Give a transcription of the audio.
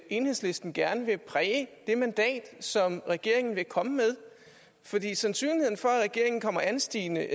enhedslisten gerne vil præge det mandat som regeringen vil komme med fordi sandsynligheden for at regeringen kommer anstigende